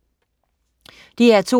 DR2: